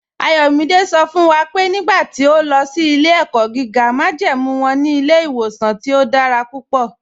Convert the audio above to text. Ayọ̀mídẹ̀ sọ fún wa pé nígbà tí ọ̀ lọ sí ilẹ̀-ẹ̀kọ́ gígá májẹ́mú wọn ní ilẹ̀-ìwọ̀sàn tí ọ̀ dára púpọ̀.